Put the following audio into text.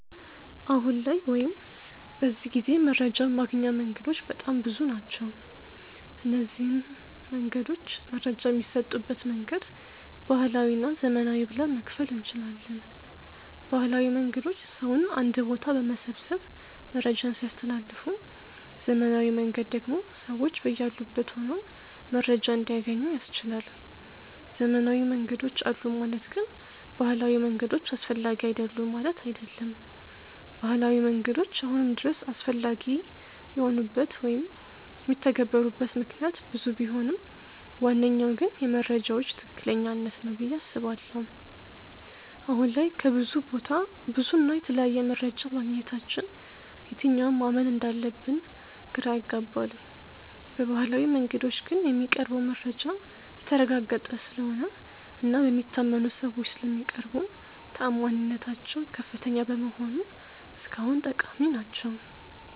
አሁን ላይ ወይም በዚህ ጊዜ መረጃን ማግኛ መንገዶች በጣም ብዙ ናቸው። እነዚንም መንገዶች መረጃ በሚሰጡበት መንገድ ባህላዊ እና ዘመናዊ ብለን መክፈል እንችላለን። ባህላዊ መንገዶች ሰውን አንድ ቦታ በመሰብሰብ መረጃን ሲያስተላልፉ ዘመናዊው መንገድ ደግሞ ሰዎች በያሉበት ሆነው መረጃን እንዲያገኙ ያስችላል። ዘመናዊ መንገዶች አሉ ማለት ግን ባህላዊ መንገዶች አስፈላጊ አይደሉም ማለት አይደለም። ባህላዊ መንገዶች አሁንም ድረስ አስፈላጊ የሆኑበት ወይም የሚተገበሩበት ምክንያት ብዙ ቢሆንም ዋነኛው ግን የመረጃዎች ትክክለኛነት ነው ብዬ አስባለሁ። አሁን ላይ ከብዙ ቦታ ብዙ እና የተለያየ መረጃ ማግኘታችን የትኛውን ማመን እንዳለብን ግራ ያጋባል። በባህላዊው መንገዶች ግን የሚቀርበው መረጃ የተረጋገጠ ስለሆነ እና በሚታመኑ ሰዎች ስለሚቀርቡ ተአማኒነታቸው ከፍተኛ በመሆኑ እስካሁን ጠቃሚ ናቸው።